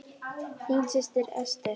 Þín systir, Ester.